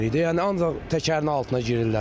Yəni ancaq təkərin altına girirlər.